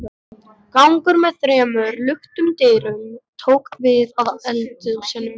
Gangur með þremur luktum dyrum tók við af eldhúsinu.